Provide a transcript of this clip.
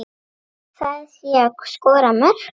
Það sé að skora mörk.